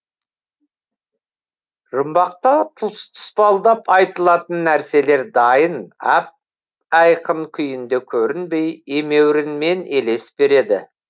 жұмбақта тұспалдап айтылатын нәрселер дайын ап айқын күйінде көрінбей емеурінмен елес береді